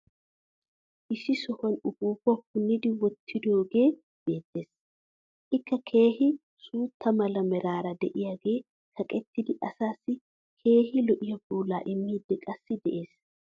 Issi shuwan upuuppaa punnidi wottidoogee beetees. Ikka keehi suutta mala meraara diyaage kaqettidi asaassi keehi lo'iya puulaa immiidi qassi de'es.